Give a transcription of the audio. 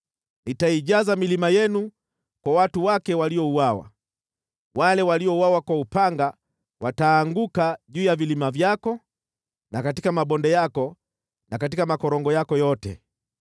Nitaijaza milima yenu kwa watu wake waliouawa, wale waliouawa kwa upanga wataanguka juu ya vilima vyako na katika mabonde yako na katika makorongo yako yote.